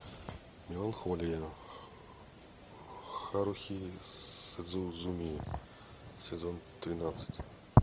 меланхолия харухи судзумии сезон тринадцать